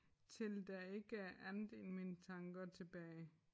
Til der ikke er andet i mine tanker tilbage